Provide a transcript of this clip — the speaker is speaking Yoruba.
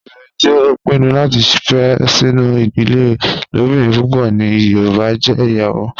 Obinrin ti o pinnu lati fe sinu idile ilobirin pupọ ni yoruba jẹ iyawo